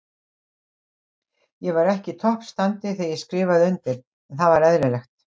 Ég var ekki í toppstandi þegar ég skrifaði undir, en það var eðlilegt.